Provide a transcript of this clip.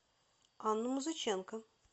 анну музыченко